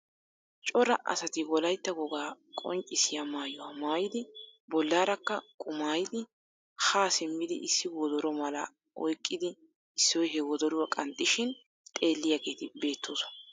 Coraa asatiwolaytta wogaa qonccissiya mayuwa mayidi bollaarakka qumaayidi ha simmidi issi wodoro malaa oyikkidi issoy he wodoruwa qanxxishin xeelliyageeti beettoosona.